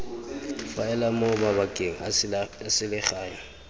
faela mo mabakeng a selegae